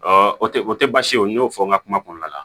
o tɛ o tɛ baasi ye o n y'o fɔ n ka kuma kɔnɔna la